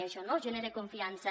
i això no genera confiança